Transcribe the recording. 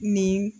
Nin